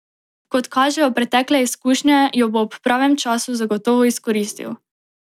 Kot kažejo pretekle izkušnje, jo bo ob pravem času zagotovo izkoristil.